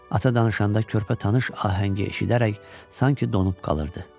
Ata danışanda körpə tanış ahəngi eşidərək sanki donub qalırdı.